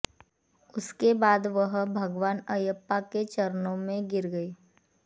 उसके बाद वह भगवान अयप्पा के चरणों में गिर गईं